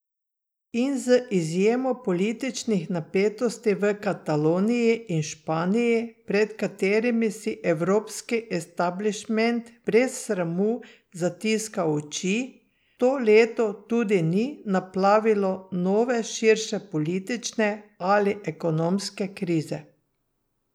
In z izjemo političnih napetosti v Kataloniji in Španiji, pred katerimi si evropski establišment brez sramu zatiska oči, to leto tudi ni naplavilo nove širše politične ali ekonomske krize.